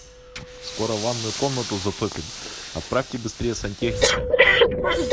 скоро ванную комнату затопит отправьте быстрее сантехника